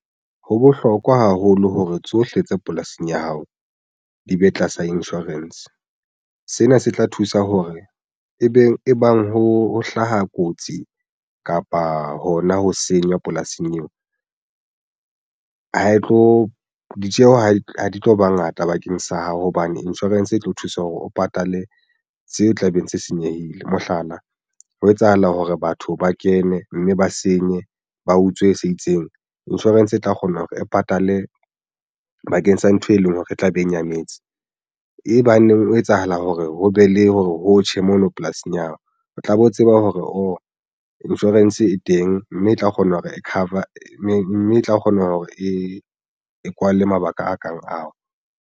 Ho bohlokwa haholo hore tsohle tse polasing ya hao di be tlasa insurance sena se tla thusa hore e beng e bang ho hlaha kotsi kapa hona ho senya polasing eo ha e tlo ditjeho ha di tlo ba ngata bakeng sa hao hobane insurance e tlo thusa hore o patale seo tlabeng se senyehile. Mohlala, ho etsahala hore batho ba kene, mme ba senye ba utswe se itseng. Insurance e tla kgona hore e patale bakeng sa ntho e leng hore e tla be e nyametse e baneng ho etsahala hore ho be le hore ho tjhe mono polasing ya hao o tlabe o tseba hore o insurance e teng, mme e tla kgona hore e cover mme e tla kgona hore e kwale mabaka a kang ao.